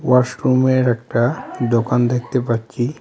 ওয়াশরুমের একটা দোকান দেখতে পাচ্চি।